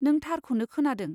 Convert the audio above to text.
नों, थारखौनो खोनादों।